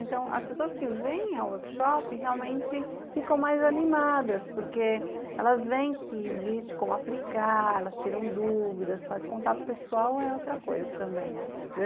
Então, as pessoas que vêm ao workshop realmente ficam mais animadas, porque elas veem que existe como aplicar, elas tiram dúvidas, faz contato pessoal, é outra coisa também.